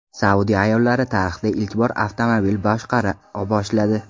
Saudiya ayollari tarixda ilk bor avtomobil boshqara boshladi.